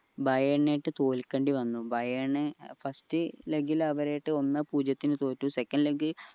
Bayern ആയിട്ട് തോൽക്കേണ്ടി വന്നു ബയേൺ first leg ൽ അവരായിട്ട് ഒന്നേ പൂജ്യത്തിന് തോറ്റു second leg